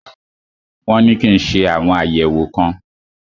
Wọn ní kí n ṣe àwọn àyẹ̀wò kan.